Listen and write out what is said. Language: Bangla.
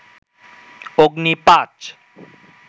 অগ্নি ৫